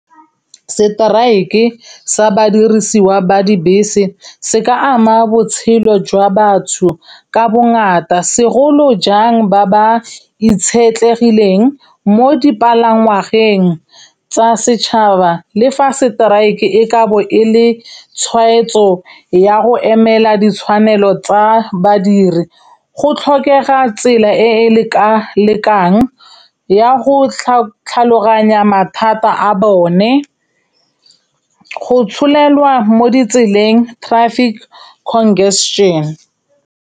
Seteraeke sa badirisiwa ba dibese, se ka ama botshelo jwa batho ka bongata, segolo jang ba ba itshetlegileng mo dipalangwageng tsa setšhaba le fa seteraeke e ka bo e le tshwaetso ya go emela ditshwanelo tsa badiri. Go tlhokega tsela e e lekalekang ya go tlhaloganya mathata a bone, go tsholelwa mo ditseleng, traffic congestion.